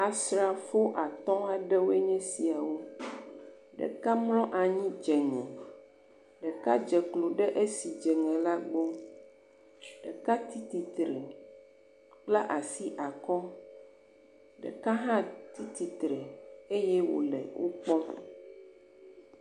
Asrafo atɔ̃ aɖewoe nye esiawo, ɖeka mlɔ anyi dze ŋe ɖeak dze klo ɖe esi dzeŋe la gbɔ, ɖeka tsitsitre kpla asi akɔ ɖeka hã tsitsitre eye wole wo kpɔm.